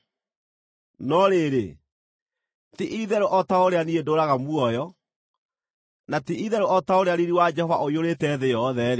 No rĩrĩ, ti-itherũ o ta ũrĩa niĩ ndũũraga muoyo, na ti-itherũ o ta ũrĩa riiri wa Jehova ũiyũrĩte thĩ yothe-rĩ,